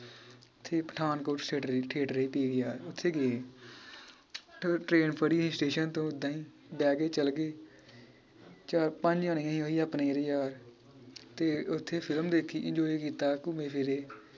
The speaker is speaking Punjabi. ਤੇ ਪਠਾਨਕੋਟ theatre ਏ PVR ਓਥੇ ਗਏ ਟ੍ਰੇਨ ਫੜੀ ਸਟੇਸ਼ਨ ਤੋਂ ਓਦਾਂ ਹੀ ਬਹਿ ਕੇ ਚਲਗਏ ਚਾਰ ਪੰਜ ਜਾਣੇ ਸੀ ਓਹੀ ਆਪਣੇ ਜਿਹੜੇ ਯਾਰ ਤੇ ਓਥੇ ਫਿਲਮ ਦੇਖੀ enjoy ਕੀਤਾ ਘੁੱਮੇ ਫਿਰੇ